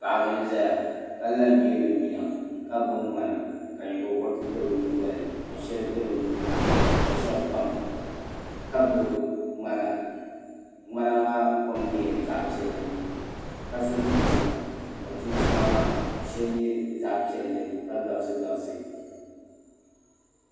Paɣaba n ʒɛya ka la nyili bi nyina ka gbubi ŋmana ka nyingokoriti bɛ bi nyingolini ka shɛli bɛ bi nuuni ka shab pam ka gbubi ŋmana ŋmana maa kom nyɛla zaɣ piɛlli ka so chinchina ka chinchina maa shɛli nyɛ zaɣ piɛlli ka gabisi gabibsi